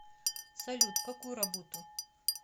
салют какую работу